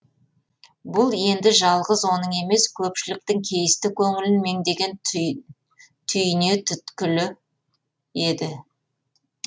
бұл енді жалғыз оның емес көпшіліктің кейісті көңілін меңдеген түйне түйткілі еді